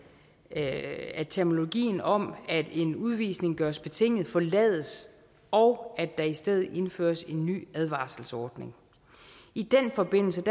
at at terminologien om at en udvisning gøres betinget forlades og at der i stedet indføres en ny advarselsordning i den forbindelse